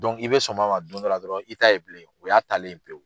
i bɛ somi a ma don dɔ la dɔrɔn i t'a ye bilen o y'a taalen ye pewu.